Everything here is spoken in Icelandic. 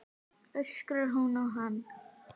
öskrar hún á hann.